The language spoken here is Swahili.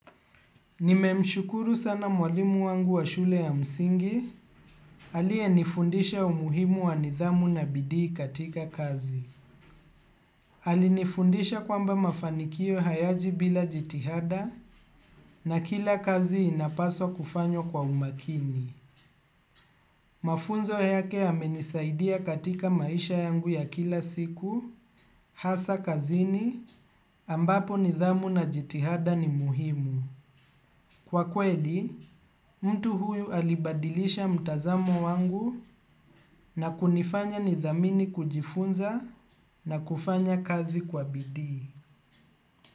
Nimemshukuru sana mwalimu wangu wa shule ya msingi, aliye nifundisha umuhimu wa nidhamu na bidii katika kazi. Alinifundisha kwamba mafanikio hayaji bila jitihada na kila kazi inapaswa kufanywa kwa umakini. Mafunzo yake yamenisaidia katika maisha yangu ya kila siku, hasa kazini, ambapo nidhamu na jitihada ni muhimu. Kwa kweli, mtu huyu alibadilisha mtazamo wangu na kunifanya nidhamini kujifunza na kufanya kazi kwa bidii.